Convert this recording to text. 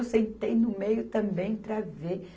Eu sentei no meio também para ver.